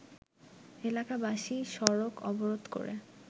এলাকাবাসী সড়ক অবরোধ করে